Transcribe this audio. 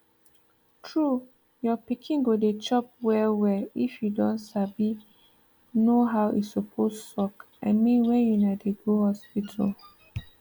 true your pikin go dey chop well well if you don sabi know how e suppose suck i mean when una dey go hospital